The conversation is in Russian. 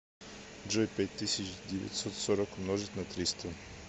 джой пять тысяч девятьсот сорок умножить на триста